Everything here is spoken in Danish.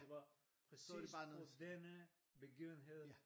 Det var præcis på denne begivenhed